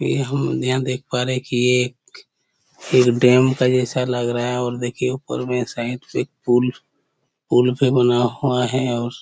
ये हम यहाँ देख पा रहे है कि ये एक डैम के जैसा लग रहा है और देखिये ऊपर में एक साइड से पुल पुल पे बना हुआ है और--